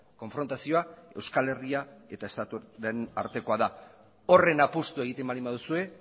konfrontazioa euskal herria eta estatuaren artekoa da horren apustua egiten baldin baduzue